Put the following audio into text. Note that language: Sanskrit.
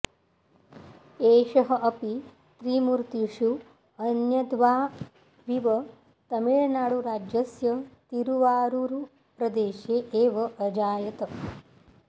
एषः अपि त्रिमूर्तिषु अन्यद्वाविव तमिळनाडुराज्यस्य तिरुवारूरुप्रदेशे एव अजायत